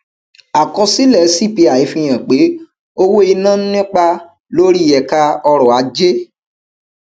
àkọsílẹ cpi fihan pé owó iná ń nípa lórí ẹka ọrọ ajé